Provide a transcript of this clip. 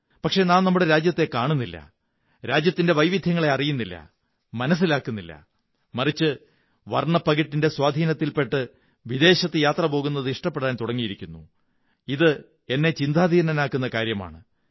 പക്ഷേ നാം നമ്മുടെ രാജ്യത്തെ കാണുന്നില്ല രാജ്യത്തിന്റെ വൈവിധ്യങ്ങളെ അറിയുന്നില്ല മനസ്സിലാക്കുന്നില്ല മറിച്ച് വര്ണ്ണ്പ്പകിട്ടിന്റെ സ്വാധീനത്തിൽ പെട്ട് വിദേശത്ത് യാത്ര പോകുന്നത് ഇഷ്ടപ്പെടാൻ തുടങ്ങിയിരിക്കുന്നു എന്നത് ചിന്താധീനനാക്കുന്ന കാര്യമാണ്